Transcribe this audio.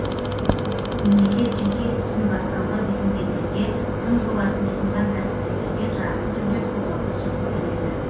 мемлекет жеке ісін бастауға бекінгендерге тың жобасын ұсынған кәсіпкерлерге тұрақты түрде қолдау көрсетіп келеді